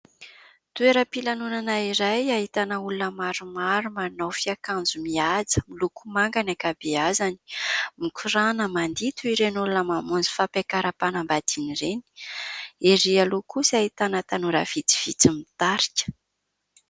Toeram-pilanona iray, ahitana olona maromaro, manao fiakanjo mihaja, miloko manga ny ankabeazany. Mikoràna, mandihy, toy ireny olona mamonjy fampiakaram-panambadiana ireny. Erỳ aloha kosa ahitana tanora vitsivitsy mitarika.